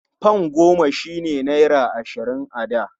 Fam goma shi ne naira ashirin a da.